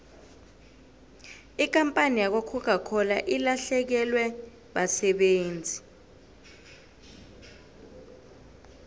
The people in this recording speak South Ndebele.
ikampani yakwacoca cola ilahlekelwe basebenzi